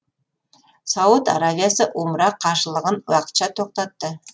сауд арабиясы умра қажылығын уақытша тоқтатты